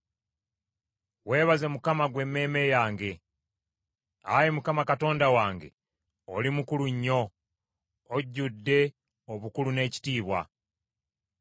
Weebaze Mukama , ggwe emmeeme yange. Ayi Mukama Katonda wange, oli mukulu nnyo; ojjudde obukulu n’ekitiibwa.